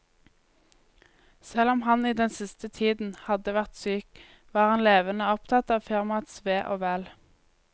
Selv om han i den siste tiden hadde vært syk, var han levende opptatt av firmaets ve og vel.